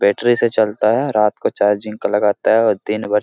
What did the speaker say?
battery से चलता है रात को चार्जिंग को लगाता हैऔर दिन भर --